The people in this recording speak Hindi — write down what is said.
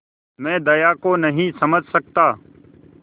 मैं दया को नहीं समझ सकता